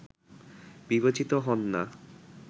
বিবেচিত হন না